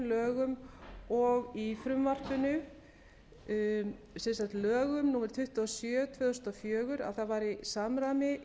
lögum og í frumvarpinu sem sagt lögum númer tuttugu og sjö tvö þúsund og fjögur að það væri samræmi